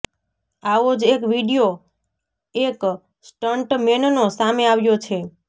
આવો જ એક વીડિયો એક સ્ટંટ મેનનો સામે આવ્યો છે